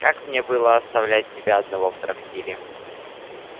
как мне было оставлять тебя одного в трактире